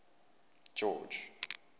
george